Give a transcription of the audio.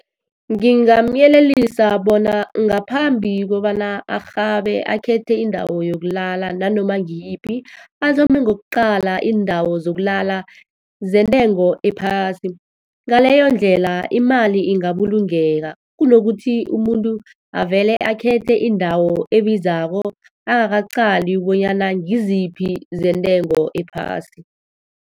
Ngingamyelelisa bona ngaphambi kobana arhabe akhethe indawo yokulala nanoma ngiyiphi, athome ngokuqala iindawo zokulala zentengo ephasi. Ngaleyo ndlela, imali ingabulungeka, kunokuthi umuntu avele akhethe indawo ebizako, angakaqali bonyana ngiziphi zentengo ephasi.